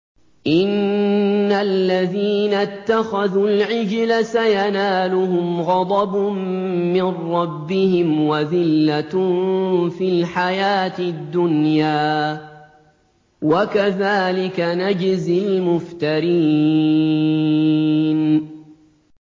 إِنَّ الَّذِينَ اتَّخَذُوا الْعِجْلَ سَيَنَالُهُمْ غَضَبٌ مِّن رَّبِّهِمْ وَذِلَّةٌ فِي الْحَيَاةِ الدُّنْيَا ۚ وَكَذَٰلِكَ نَجْزِي الْمُفْتَرِينَ